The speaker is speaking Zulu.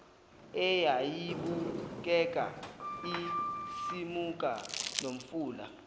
eyayibukeka isimuka nomfula